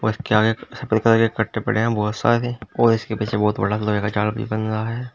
इसके आगे कट्टे पड़े हैं बहुत सारे और इसके पीछे बहुत बड़ा लोहे का जाल भी बन रहा है।